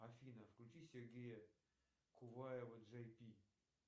афина включи сергея куваева джей пи